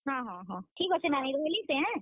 ହଁ ହଁ ହଁ, ଠିକ୍ ଅଛେ ନାନୀ ରହେଲି ସେ ହେଁ।